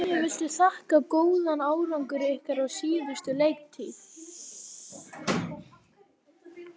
Hverju viltu þakka góðan árangur ykkar á síðustu leiktíð?